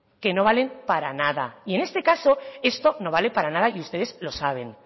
que no valen para nada y en este caso esto no vale para nada y ustedes lo saben